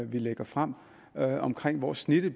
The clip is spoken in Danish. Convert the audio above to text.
vi lægger frem omkring hvor snittet